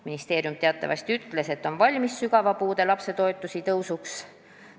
Ministeerium teatavasti ütles, et on valmis sügava puudega lapse toetuse tõusuks.